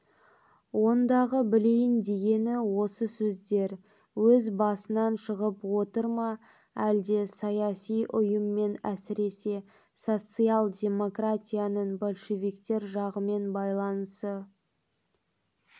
ондағы білейін дегені осы сөздер өз басынан шығып отыр ма әлде саяси ұйыммен әсіресе социал-демократияның большевиктер жағымен байланысы